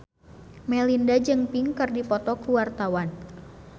Melinda jeung Pink keur dipoto ku wartawan